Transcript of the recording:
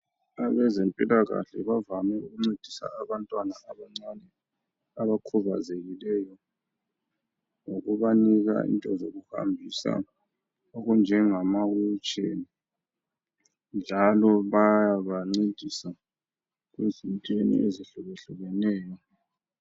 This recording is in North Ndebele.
abezempilakahle bavame ukuncedisa abantwana abancane abakhubazekeyo ngokubanika into zokuhambisa okunjengama wheel chair njalo bayabancedisa ezintweni ezihlukehlukeneyo